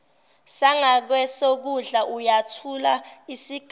sangakwesokudla uyathula isigamu